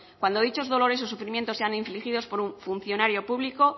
cuando dichos dolores o sufrimientos sean infligidos por un funcionario público